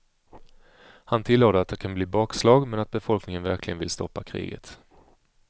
Han tillade att det kan bli bakslag men att befolkningen verkligen vill stoppa kriget.